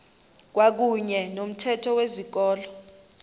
kwakuyne nomthetho wezikolo